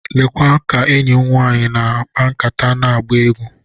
Lekwa ka enyi m nwanyị nọ na-akpa nkata na-agba egwu.